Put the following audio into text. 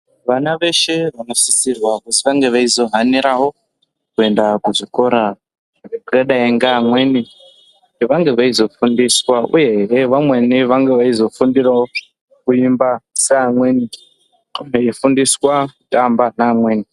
Vana veshee vanosisirwa kuti vange veyizo hanirawo kuenda kuzvikora zvedera pamweni vanenge veyizofundiswa uye hee vamweni vange veyizofundirawo kuimba sevamweni veyifundisa kuramba nevamweni.